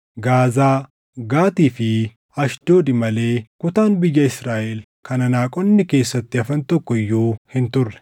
Gaazaa, Gaatii fi Ashdoodi malee kutaan biyya Israaʼel kan Anaaqonni keessatti hafan tokko iyyuu hin turre.